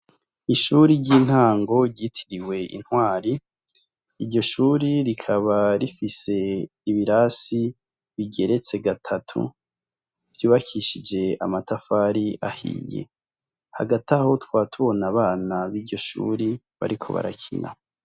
Ishure ry'intango ryitiriwe Intwari, iryoshure rikaba rifise ibirasi bigeretse gatatatu ,vyubakishije amatafari ahiye, hagati aho tukaba tubona Abana biryo Shure, bariko barakina.